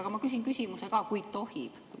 Aga ma küsin küsimuse ka, kui tohib.